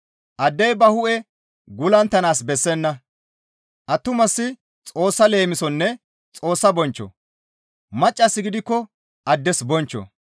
Addey ba hu7e gullunttanaas bessenna; attumasi Xoossa leemisonne Xoossa bonchcho; maccassi gidikko addes bonchcho.